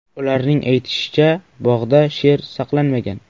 Ularning aytishicha, bog‘da sher saqlanmagan.